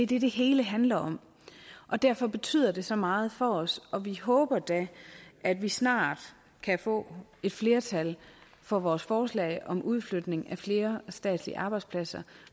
det det hele handler om og derfor betyder det så meget for os og vi håber da at vi snart kan få et flertal for vores forslag om udflytning af flere statslige arbejdspladser